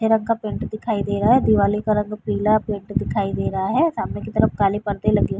रंग का पैंट दिखाई दे रहा है। दीवाली का रंग पीला पेंट दिखाई दे रहा है। सामने की तरफ काले परदे लगे --